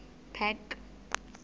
park